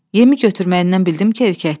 Yemi götürməyindən bildim ki, erkəkdir.